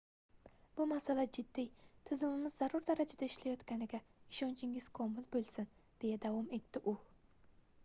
bu masala jiddiy tizimimiz zarur darajada ishlayotganiga ishonchingiz komil boʻlsin deya davom etdi u